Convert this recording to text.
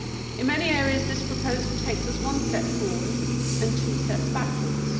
In many areas this proposal takes us one step forward and two steps backwards.